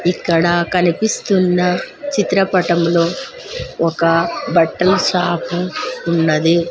ఇక్కడ కనిపిస్తున్న చిత్రపటంలో ఒక బట్టల సాపు ఉన్నది.